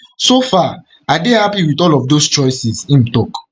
so far i dey happy with all of those choices im tok im tok